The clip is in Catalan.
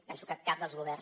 penso que cap dels governs